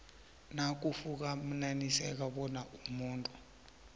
nakufumaniseka bona umuntu